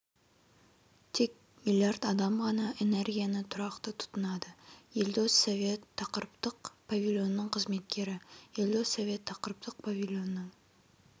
тек млрд адам ғана энергияны тұрақты тұтынады елдос совет тақырыптық павильонның қызметкері елдос совет тақырыптық павильонның